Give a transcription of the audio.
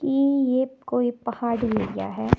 ई ये कोई पहाड़ी एरिया है।